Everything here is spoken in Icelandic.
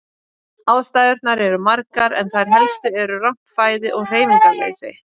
Ástæðurnar eru margar en þær helstu eru rangt fæði og hreyfingarleysi.